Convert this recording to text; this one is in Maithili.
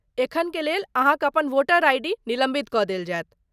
एखनुक लेल अहाँक अपन वोटर आइ.डी. निलम्बित कऽ देल जायत।